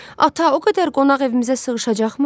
Ata, o qədər qonaq evimizə sığışacaqmı?